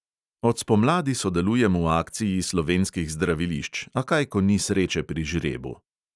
Od spomladi sodelujem v akciji slovenskih zdravilišč, a kaj ko ni sreče pri žrebu.